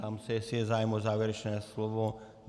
Ptám se, jestli je zájem o závěrečné slovo.